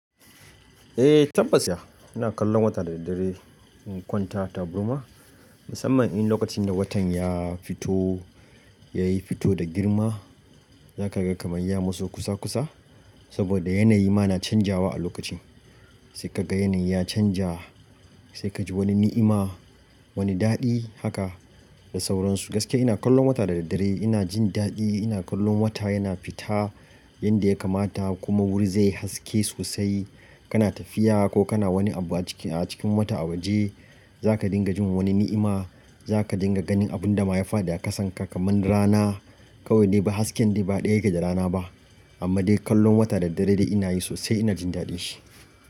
Eh tabbas ya, ina kallon wata da daddare in kwanta tabarma musamman in lokacin da watan ya fito, ya yi fito da girma. Za ka ga kamar ya matso kusa kusa saboda yanayi ma na canjawa a lokacin. Sai ka ga yanayi ya canja, sai ka ji wani ni'ima, wani daɗi haka da sauransu. Gaskiya ina kallon wata da daddare ina jin daɗi, ina kallon wata yana fita yanda ya kamata kuma wuri zai haske sosai. Kana tafiya ko kana wani abu a cikin wata a waje za ka dinga jin wani ni'ima. Za ka dinga ganin abun da ma ya faɗi a kasanka kamar rana. Kawai de hasken dai ba ɗaya yake da rana ba amma dai kallon wata da daddare dai ina yi sosai ina jin daɗin shi.